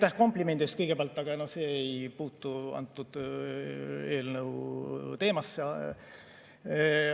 Aitäh komplimendi eest kõigepealt, aga see ei puutu antud eelnõu teemasse.